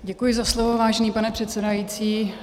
Děkuji za slovo, vážený pane předsedající.